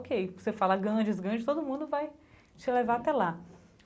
Ok, você fala Ganges, Ganges todo mundo vai te levar até lá.